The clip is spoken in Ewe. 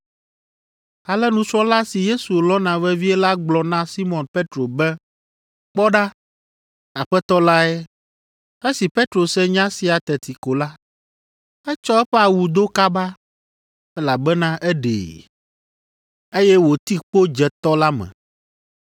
Ale nusrɔ̃la si Yesu lɔ̃na vevie la gblɔ na Simɔn Petro be, “Kpɔ ɖa, Aƒetɔ lae!” Esi Petro se nya sia teti ko la, etsɔ eƒe awu do kaba (elabena eɖee), eye wòti kpo dze tɔ la me.